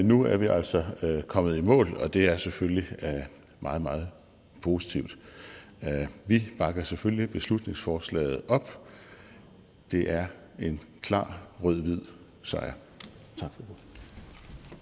nu er vi altså kommet i mål og det er selvfølgelig meget meget positivt vi bakker selvfølgelig beslutningsforslaget op det er en klar rød hvid sejr